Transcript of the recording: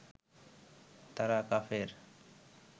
তারা কাফের